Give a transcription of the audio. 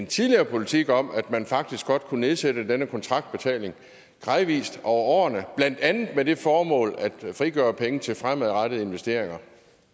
tidligere politik om at man faktisk godt kunne nedsætte denne kontraktbetaling gradvist over årene blandt andet med det formål at frigøre penge til fremadrettede investeringer